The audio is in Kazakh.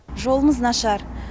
жолымыз нашар